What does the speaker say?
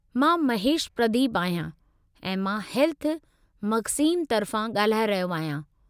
मां महेशु प्रदीपु आहियां ऐं मां हेल्थ मख़ज़ीन तर्फ़ां ॻाल्हाए रहियो आहियां।